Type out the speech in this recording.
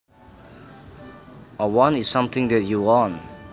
A want is something that you want